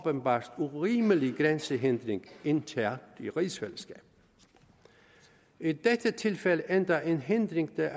åbenbart urimelig grænsehindring internt i rigsfællesskabet i dette tilfælde endda en hindring det er